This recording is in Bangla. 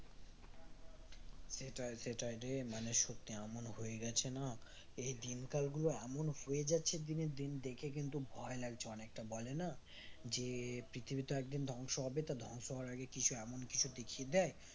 সেটাই সেটাই রে মানে সত্যিই এমন হয়ে গেছে না এই দিনকাল গুলো এমন হয়ে যাচ্ছে দিনের দিন দেখে কিন্তু ভয় লাগছে অনেকটা বলে না যে পৃথিবী তো একদিন ধ্বংস হবে তা ধ্বংস হওয়ার আগে কিছু এমন কিছু দেখিয়ে দেয়